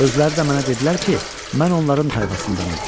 Özləri də mənə dedilər ki, mən onların tayfasındanam.